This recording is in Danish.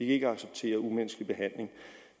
ikke acceptere umenneskelig behandling